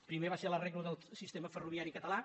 primer va ser l’ arreglo del sistema ferroviari català